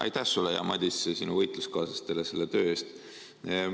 Aitäh sulle, hea Madis, ja sinu võitluskaaslastele selle töö eest!